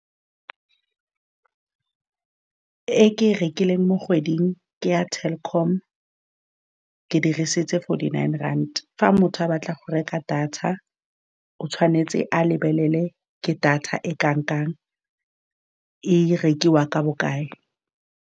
E ke e rekileng mo kgweding, ke ya Telkom, ke dirisitse forty-nine rand. Fa motho a batla go reka data, o tshwanetse a lebelele ke data e kang-kang e rekiwa ka bokae.